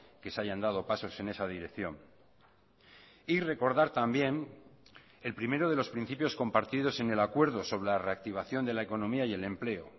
que se hayan dado pasos en esa dirección y recordar también el primero de los principios compartidos en el acuerdo sobre la reactivación de la economía y el empleo